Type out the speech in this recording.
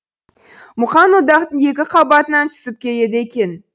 мұқаң одақтың екі қабатынан түсіп келеді екен